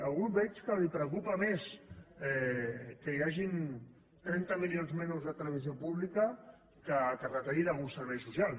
algú el veig que el preocupa més que hi hagin trenta milions menys de televisió pública que no que es retallin alguns serveis socials